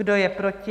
Kdo je proti?